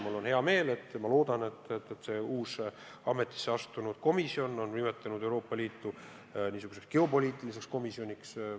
Mul on hea meel, et uus ametisse astunud komisjon on nimetanud Euroopa Liitu just niisuguseks geopoliitiliseks ühenduseks.